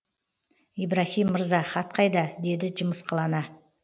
ибраһим мырза хат қайда деді жымысқылана